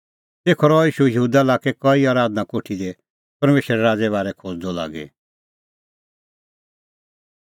तेखअ रहअ ईशू यहूदा लाक्कै कई आराधना कोठी दी परमेशरे राज़े बारै खोज़दअ लागी